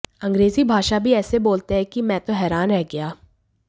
अंग्रेजी भाषा भी ऐसी बोलते हैं कि मैं तो हैरान रह गया